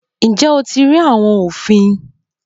Ǹjẹ́ o ti rí àwọn òfin?